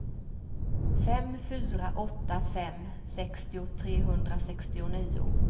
fem fyra åtta fem sextio trehundrasextionio